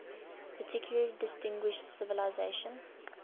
particularly distinguished civilization